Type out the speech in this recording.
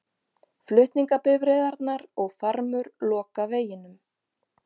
Flutningabifreiðarnar og farmur loka veginum